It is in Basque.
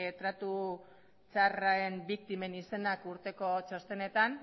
tratu txarren biktimen izenak urteko txostenetan